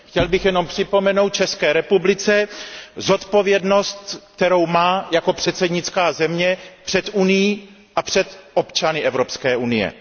Chtěl bych jenom připomenout České republice zodpovědnost, kterou má jako předsednická země před Unií a před občany Evropské unie.